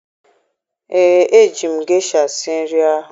Ee, eji m gesha sie nri ahụ